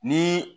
Ni